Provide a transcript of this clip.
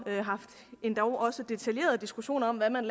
endog også haft detaljerede diskussioner om hvad man